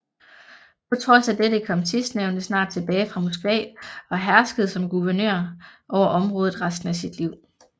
På trods af dette kom sidstnævnte snart tilbage fra Moskva og herskede som guvernør over området resten af sit liv